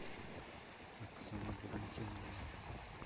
оксана валентиновна